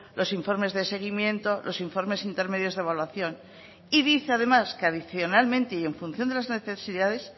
los informes de seguimiento los informes intermedios de evaluación y dice además que adicionalmente y en función de las necesidades